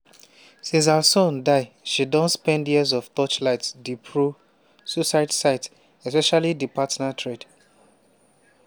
since her son die she don spend years to torchlight di pro-suicide site especially di partner thread.